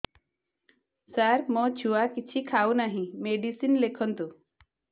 ସାର ମୋ ଛୁଆ କିଛି ଖାଉ ନାହିଁ ମେଡିସିନ ଲେଖନ୍ତୁ